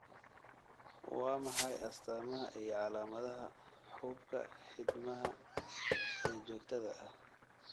Waa maxay astamaha iyo calaamadaha xuubka xiidmaha ee joogtada ah?